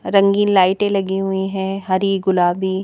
रंगीन लाइटें लगी हुई हैं हरी गुलाबी--